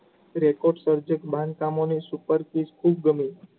પ્રેશકવાર્ધક કામોની કામગીરી ખુબ જ ગમી.